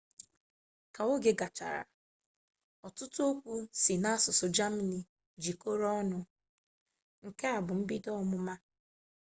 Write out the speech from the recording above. ka oge gachara ọtụtụ okwu si n'asụsụ jamani jikọrọ ọnụ nke a bu mbido ọmụma